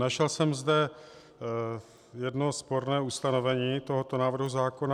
Našel jsem zde jedno sporné ustanovení tohoto návrhu zákona.